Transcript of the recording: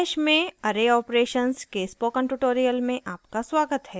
bash में array operations के spoken tutorial में आपका स्वागत है